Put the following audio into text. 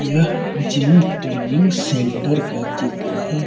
यह gym training centre का चित्र है।